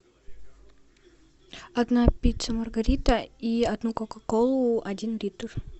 одна пицца маргарита и одну кока колу один литр